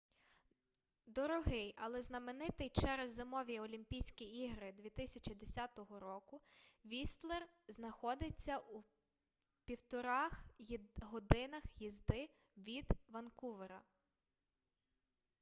дорогий але знаменитий через зимові олімпійські ігри 2010 року вістлер знаходиться у 1,5 години їзди від ванкувера